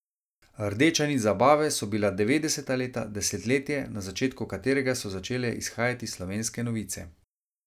Rdeča nit zabave so bila devetdeseta leta, desetletje, na začetku katerega so začele izhajati Slovenske novice.